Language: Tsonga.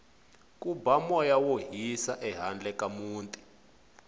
ku ba moya wo hisa ehandle ka muti